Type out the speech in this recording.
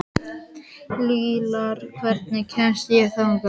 Liljar, hvernig kemst ég þangað?